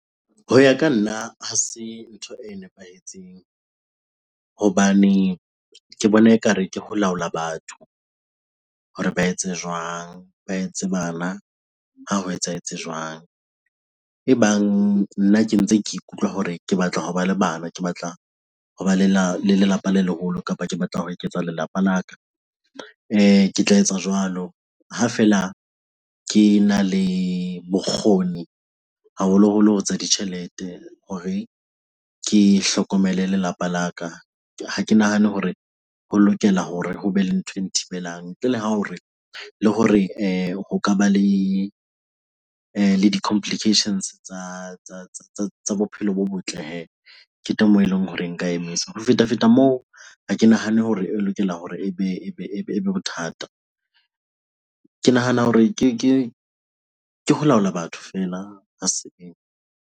Ho ya ka nna ha se ntho e nepahetseng hobane ke bona ekare ke ho laola batho hore ba etse jwang? Ba etse bana ha ho etsahetse jwang? Ebang nna ke ntse ke ikutlwa hore ke batla hoba le bana, ke batla hoba le la, le lelapa le leholo kapa ke batla ho eketsa lelapa la ka ke tla etsa jwalo. Ha fela kena le bokgoni haholoholo ho tsa ditjhelete hore ke hlokomele lelapa la ka. Ha ke nahane hore ho lokela hore ho be le nthwe nthibelang. Ntle le hao re, le hore ho ka ba le le di-complications tsa bophelo bo botle hee. Ke teng moo eleng hore nka emisa. Ho fetafeta moo, ha ke nahane hore e lokela hore e be bothata. Ke nahana hore ke ho laola batho feela. Ha .